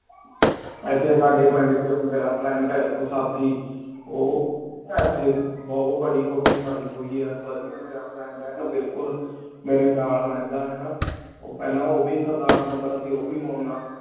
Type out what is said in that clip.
ਆਯ੍ਟੀ ਸਾਡੀ ਪੀਂਦ ਚ ਮੇਰਾ ਪ੍ਰਹ ਦਾ ਇਕ ਸਾਥੀ ਊ ਯੇਤੀ ਬੋਹਤ ਬਾਰੀ ਕੋਟੀ ਪੀ ਹੋਈ ਆ ਫਾਰ ਏ ਮੇਰਾ friend ਏ ਬਿਲਕੁਲ ਮੇਰੀ ਨਾਲ ਰਹੰਦਾ ਹਾਨਾ ਊ ਪਹਲਾ ਓਵੀ ਸਰਦਾਰ ਹੁੰਦਾ ਸੇ ਊ ਵੀ ਮੋਨਾ